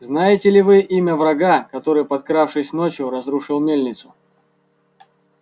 знаете ли вы имя врага который подкравшись ночью разрушил мельницу